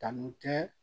Tanu tɛ